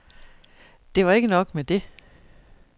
Det var ikke nok med det.